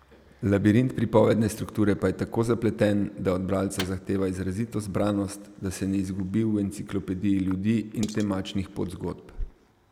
Labirint pripovedne strukture pa je tako zapleten, da od bralca zahteva izrazito zbranost, da se ne izgubi v enciklopediji ljudi in temačnih podzgodb.